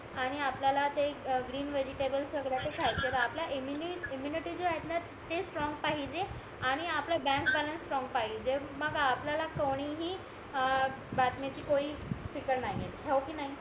आणि आपल्याला ते ग्रीन वेजिटेबल सगळं ते खायचा तर आपल्या इम्म्युनिटी जो आहेतना ते स्ट्रॉंग पाहिजे आणि आपला बँक बॅलन्स स्ट्रॉंग पाहिजे मग आपल्याला कोणीही अं बातम्यांचे नाहीये